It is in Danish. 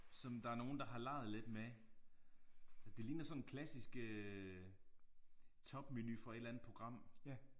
Som der er nogen der har leget lidt med. Det ligner sådan en klassisk øh topmenu fra et eller andet program